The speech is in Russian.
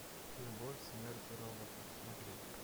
любовь смерть и роботы смотреть